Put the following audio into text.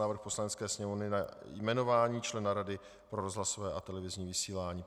Návrh Poslanecké sněmovny na jmenování člena Rady pro rozhlasové a televizní vysílání